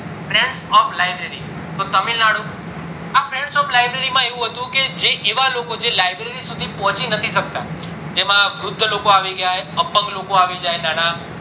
trends of library તો તમિલ નાડુ આ trends of library માં આવું હતું કે જેવા લોકો જે library સુધી પહોચી નથી શકતા જેમાં વૃદ્ધ લોકો આવી જાય અપંગ લોકો આવી જાય આવી જાય નાના